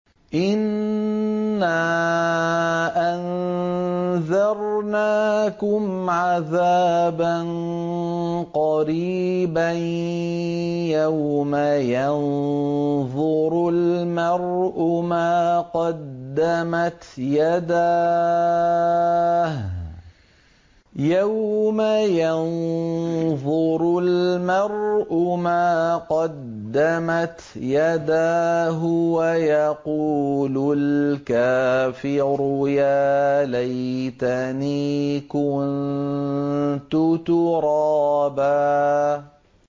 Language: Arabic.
إِنَّا أَنذَرْنَاكُمْ عَذَابًا قَرِيبًا يَوْمَ يَنظُرُ الْمَرْءُ مَا قَدَّمَتْ يَدَاهُ وَيَقُولُ الْكَافِرُ يَا لَيْتَنِي كُنتُ تُرَابًا